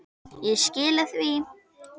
Ég skila því.